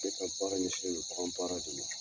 Ne ka baara ɲɛsinnen don baara de ma.